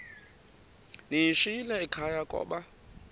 ndiyishiyile ekhaya koba